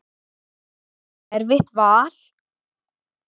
Var það erfitt vall?